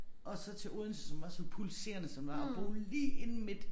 Og så til Odense som var så pulserende som var at bo lige inde midt